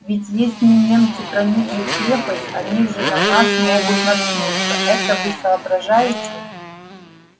ведь если немцы проникли в крепость они же на нас могут наткнуться это вы соображаете